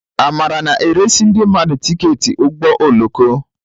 Amara na-eresị ndị mmadụ tiketi ụgbọ oloko.